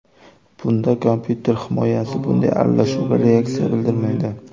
Bunda kompyuter himoyasi bunday aralashuvga reaksiya bildirmaydi.